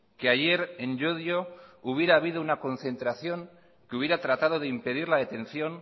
que ayer en llodio hubiera habido una concentración que hubiera tratado de impedir la detención